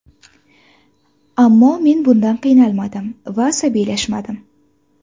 Ammo men bundan qiynaldim va asabiylashdim.